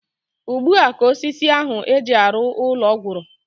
Ugbua ka osisi ahu eji arụ ụlọ gwụrụ